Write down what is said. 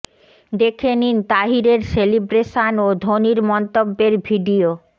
দেখে নিন তাহিরের সেলিব্রেশন ও ধোনির মন্তব্যের ভিডিও